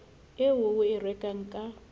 eo o e rekang ka